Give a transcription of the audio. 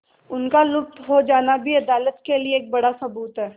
उनका लुप्त हो जाना भी अदालत के लिए एक बड़ा सबूत है